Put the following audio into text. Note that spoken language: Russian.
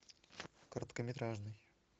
короткометражный